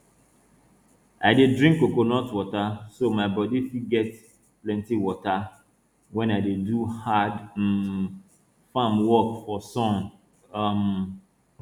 i dey drink coconut water so my body fit get plenti water when i dey do hard um farm work for sun um